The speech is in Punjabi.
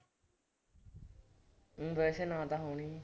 ਊਂ ਵੈਸੇ ਨਾਂ ਤਾਂ ਹੋਣੇ ਹੀ।